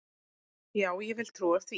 Já, ég vil trúa því.